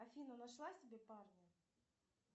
афина нашла себе парня